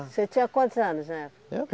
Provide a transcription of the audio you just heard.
Você tinha quantos anos na época? Eu